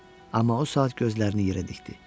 Amma o saat gözlərini yerə dikdi.